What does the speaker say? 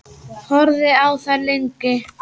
Horfði á þær lengi.